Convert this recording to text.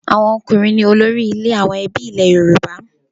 Àwọn ọkùnrin ní olórí ilé àwọn ẹbí ilẹ̀ Yorùbá.